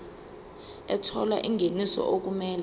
ethola ingeniso okumele